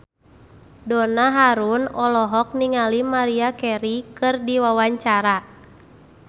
Donna Harun olohok ningali Maria Carey keur diwawancara